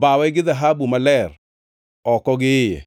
Bawe gi dhahabu maler oko gi iye